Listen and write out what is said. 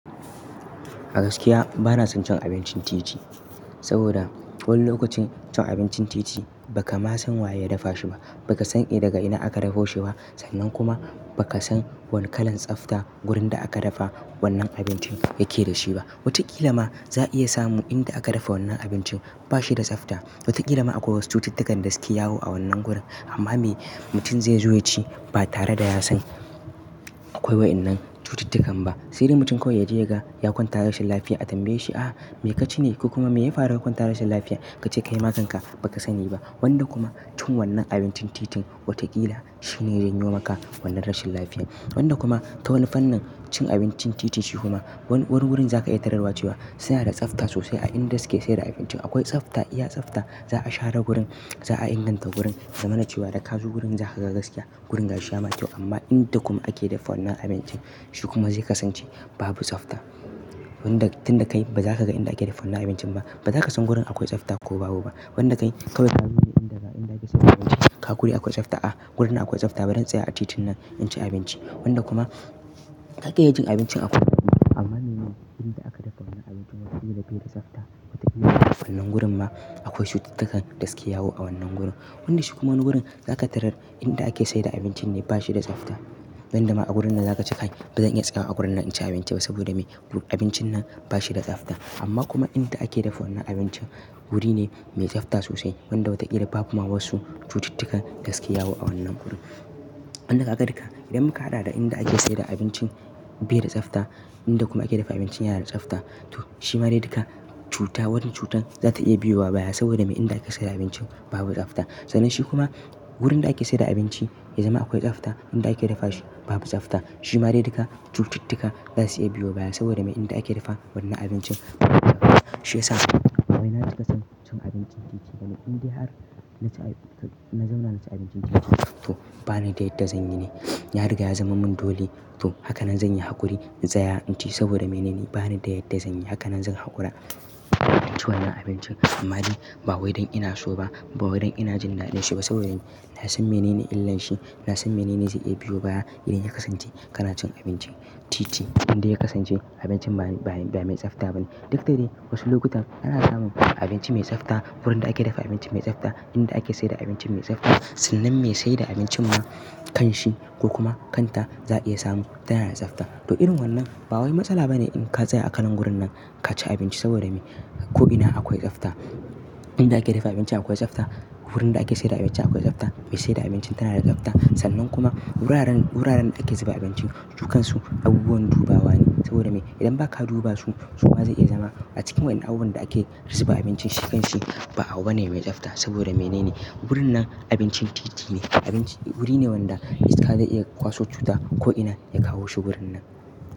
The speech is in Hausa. A gaskiya bana son cin abincin titi. Saboda wani lokacin cin abincin titi ba ka ma san waye ya dafa shi ba, ba ka san eh daga ina aka dafa shi ba sannan kuma ba ka san wane kalan tsafta wurin da aka dafa wannan abincin yake da shi ba. Watakila ma za a iya samu inda aka dafa wannan abincin ba shi da tsafta. Watakila ma akwai wasu cututtukan da suke yawo a wannan gurin amma me mutum zai zo ya ci ba tare da ya san akwai waɗannan cututtukan ba. Sai dai mutum kawai ya je ya ga ya kwanta rashin lafiya a tambaye shi, "ah me ka ci ne ko kuma me ya faru ka kwanta rashin lafiya?" ka ce kaima kanka ba ka sani ba. Wanda kuma cin wannan abincin titin watakila shi ne ya janyo maka wannan rashin lafiyar. Wanda kuma ta wani fan nin cin abincin titi shi kuma wani wurin za ka iya tararwa cewa suna da tsafta sosai a inda suke sayar da abincin. Akwai tsafta, iya tsafta. Za a share gurin, za a inganta gurin, zama na cewa da ka zo gurin za ka ga gaskiya gurin gashi ya kyau. Amma inda kuma ake dafa wannan abincin shi kuma zai kasance babu tsafta. Wanda tun da kai ba za ka ga inda ake dafa wannan abincin ba. Ba za ka san gurin akwai tsafta ko babu ba. Wanda kai kawai ka zo ne inda ake sayar da abinci. Kaga guri akwai tsafta a gurin akwai tsafta barin in tsaya a titin nan in ci abinci. Wanda kuma zaka iya cin abincin amma mene inda aka dafa wannan abincin ba shi da tsabta. Watakila a wannan gurin ma akwai cututtukan da suke yawo a wannan gurin. Wanda shi kuma wani wurin za ka tarar inda ake sayar da abincin ne ba shi da tsafta. Wanda ma a wurin nan za ka ce kai ba zan iya tsayawa a wurin nan in ci abinci ba saboda me abincin nan ba shi da tsafta. Amma kuma inda ake dafa wannan abincin wuri ne mai tsafta sosai. Wanda wata kila babu ma wasu cututtuka da suke yawo a wannan gurin. Wanda ka ga duka idan muka haɗa da inda ake sayar da abincin bai da tsafta, inda kuma ake dafa abincin yana da tsafta. To shi ma ne duka cuta, wannan cutan za ta iya biyo wa baya saboda me inda aka sayar da abincin babu tsafta. Sannan shi kuma wurin da ake sayar da abinci ya zama akwai tsafta, inda ake dafa shi babu tsafta. Shi ma de duka cututtuka za su iya biyo baya saboda me inda ake dafa wannan abincin shi ya samu. Ba wai na cika son cin abincin titi bane inda har na zauna na ci abincin titi. To bana da yadda zanyi ne. Ya riga ya zama mun dole. To haka nan zanyi haƙuri zan tsaya in ci saboda menene bani da yadda zanyi. Haka nan zan haƙura in ci wannan abincin amma dai ba wai don ina so ba, ba wai don ina jin daɗin shi ba saboda me na san menene illan shi. Na san menene zai iya biyo baya idan ya kasance kana cin abincin titi inda ya kasance abincin ba mai tsafta bane. Duk dade wasu lokutan ana samun abinci mai tsafta wurin da ake dafa abinci mai tsafta, inda ake sayar da abinci mai tsafta sannan me sayar da abincin ma kan shi ko kuma kan ta za a iya samu tana da tsafta. To irin wannan ba wai matsala bane in ka tsaya a kalan wurin nan ka ci abinci saboda me ko'ina akwai tsafta. Inda ake dafa abinci akwai tsafta, wurin da ake sayar da abinci akwai tsafta, mai sayar da abincin tana da tsafta sannan kuma wuraren, wuraren da ake zuba abincin jukansu abubuwan dubawa ne saboda me idan ba ka duba su su ma za iya zama a cikin waɗannan abubuwan da ake zuba abincin shi kan shi ba abu bane mai tsafta saboda menene wurin nan abincin titi ne. Abinci wuri ne wanda iska zai iya kwaso cuta ko'ina ya kawo shi wurin nan.